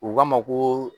U k'a ma koo